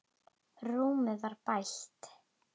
Rúmið var bælt.